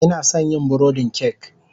Ina son yin burodin kek